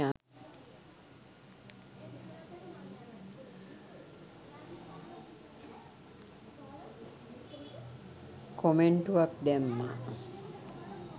කොමෙන්ටුවක් දැම්මා.